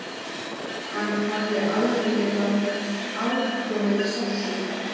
Hann hafði aldrei getað afborið sársauka.